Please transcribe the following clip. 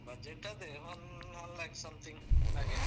Budget ಅದೆ ಒಂದ್ one lakh something ಹಾಗೆ.